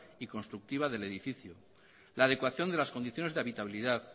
y constructiva del edificio la adecuación de las condiciones de habitabilidad